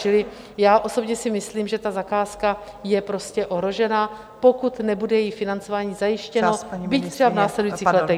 Čili já osobně si myslím, že ta zakázka je prostě ohrožena, pokud nebude její financování zajištěno, byť třeba v následujících letech.